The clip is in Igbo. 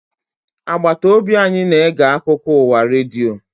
Agbata obi anyị na-ege akụkọ ụwa redio